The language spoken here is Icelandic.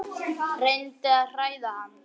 Reyndi að hræða hann.